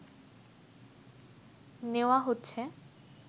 নেওয়া হচ্ছে